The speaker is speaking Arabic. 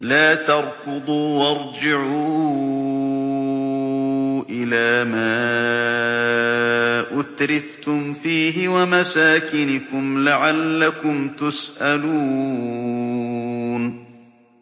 لَا تَرْكُضُوا وَارْجِعُوا إِلَىٰ مَا أُتْرِفْتُمْ فِيهِ وَمَسَاكِنِكُمْ لَعَلَّكُمْ تُسْأَلُونَ